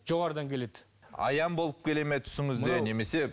жоғарыдан келеді аян болып келе ме түсіңізде немесе